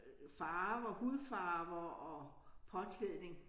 Øh farver hudfarver og påklædning